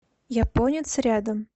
японец рядом